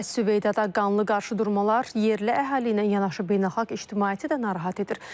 Əs-Süveyyədə qanlı qarşıdurmalar yerli əhali ilə yanaşı beynəlxalq ictimaiyyəti də narahat edir.